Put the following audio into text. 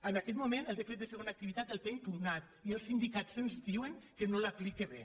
en aquest moment el decret de segona activitat el té impugnat i els sindicats ens di·uen que no l’aplica bé